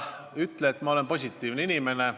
Ütle neile, et ma olen positiivne inimene.